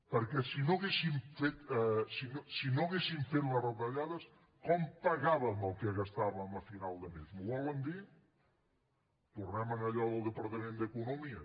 perquè si no haguéssim fet les retallades com pagàvem el que gastàvem a final de mes m’ho volen dir tornem a allò del departament d’economia